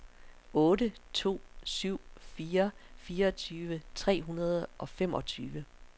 otte to syv fire fireogtyve tre hundrede og femogtyve